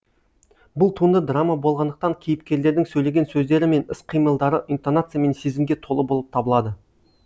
бұл туынды драма болғандықтан кейіпкерлердің сөйлеген сөздері мен іс қимылдары интонация мен сезімге толы болып табылады